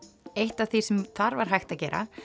eitt af því sem þar var hægt að gera